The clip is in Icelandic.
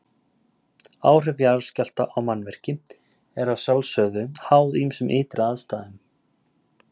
Áhrif jarðskjálfta á mannvirki eru að sjálfsögðu háð ýmsum ytri aðstæðum.